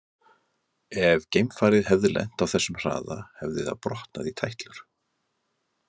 Ef geimfarið hefði lent á þessum hraða hefði það brotnað í tætlur.